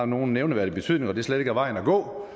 nogen nævneværdig betydning at det slet ikke var vejen at gå